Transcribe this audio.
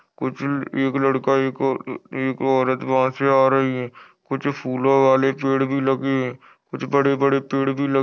कुछ एक लड़का एक औ एक औरत वहां से आ रही है कुछ फूलों वाले पेड़ भी लगे है कुछ बड़े-बड़े पेड़ भी ल--